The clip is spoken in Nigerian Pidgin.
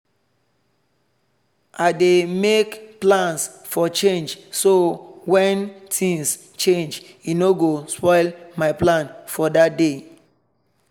i dey make plans for change so when things change e no go spoil my plan for that day.